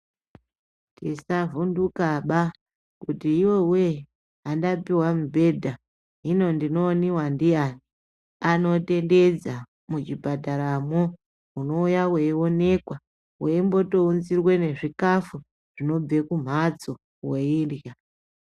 Musavhundukaba kuti yowe handapihwa mubhedha hino ndinooniwa ndiyani ,anotendedza muzvibhadharamo unouya veionekwa ,vombotounzirwe nezvikafu zvinobve kumhatso veirya .